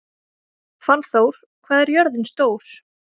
Fannþór, hvað er jörðin stór?